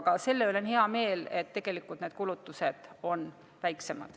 Aga selle üle on hea meel, et tegelikult need kulutused on väiksemad.